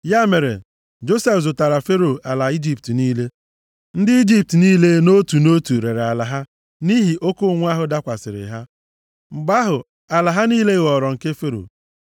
Ya mere, Josef zụtaara Fero ala Ijipt niile. Ndị Ijipt niile nʼotu nʼotu rere ala ha nʼihi oke ụnwụ ahụ dakwasịrị ha. Mgbe ahụ, ala ha niile ghọrọ nke Fero.